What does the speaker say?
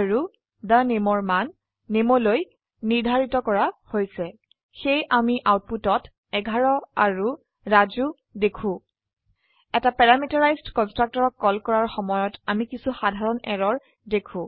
আৰু the nameৰ মান নামে লৈ নিৰ্ধাৰিত কৰা হৈছে সেয়ে আমি আউটপুটত 11 আৰু ৰাজু দেখো এটা প্যাৰামিটাৰাইজড কন্সট্ৰকটৰক কল কৰাৰ সময়ত আমি কিছু সাধাৰণ এৰৰ দেখো